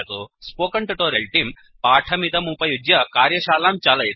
spoken tutorial तेऽं पाठमिदमुपयुज्य कार्यशालां चालयति